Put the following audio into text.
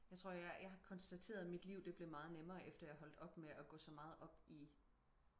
jeg tror jeg jeg har konstateret mit liv det blev meget nemmere efter jeg holdte op med at gå så meget op i